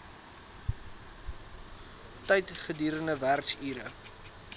tyd gedurende werksure